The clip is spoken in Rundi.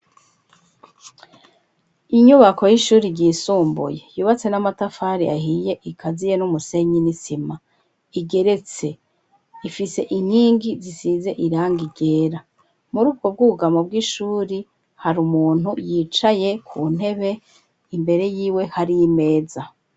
Inyubako y'ishuri ryisumbuye, yubatse n'amatafari ahiye, ikaziye n'umusenyi n'isima, igeretse; ifise inkingi zisize irangi ryera; muri ubwo bwugamo bw'ishuri, hari umuntu yicaye ku ntebe, imbere yiwe hari imeza.